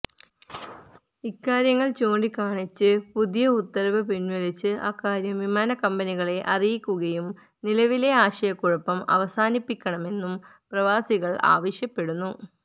ഇക്കാര്യങ്ങള് ചൂണ്ടികാണിച്ച് പുതിയ ഉത്തരവ് പിന്വലിച്ച് അക്കാര്യം വിമാനക്കമ്പനികളെ അറിയിക്കുകയും നിലവിലെ ആശയക്കുഴപ്പം അവസാനിപ്പിക്കണമെന്നും പ്രവാസികള് ആവശ്യപ്പെടുന്നു